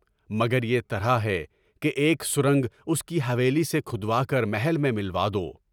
مگر یہ طرح ہے کہ ایک سرنگ اس کی حویلی سے کھود کر محل میں ملا دی۔